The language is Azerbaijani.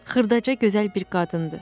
Xırdaca gözəl bir qadındı.